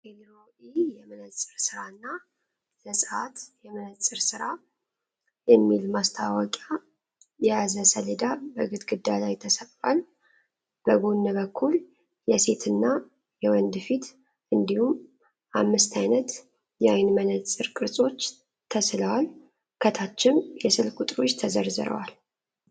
“ኤልሮኢ የመነጸር ስራና ዘጸአት የመንጽር ስራ” የሚል ማስታወቂያ የያዘ ሰሌዳ በግድግዳ ላይ ተሰቅሏል። በጎን በኩል የሴት እና የወንድ ፊት እንዲሁም አምስት ዓይነት የዓይን መነጽር ቅርጾች ተስለዋል። ከታችም የስልክ ቁጥሮች ተዘርዝረዋል።